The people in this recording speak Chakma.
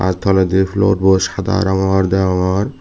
tey twledi floor bo sada rongor deyongor.